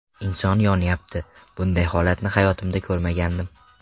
Inson yonyapti, bunday holatni hayotimda ko‘rmagandim.